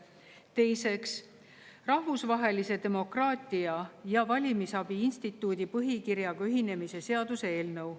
Teiseks, Rahvusvahelise Demokraatia ja Valimisabi Instituudi põhikirjaga ühinemise seaduse eelnõu.